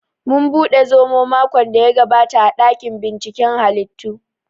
Mun buɗe zomo makon daya gabata a ɗakin binciken hallitu w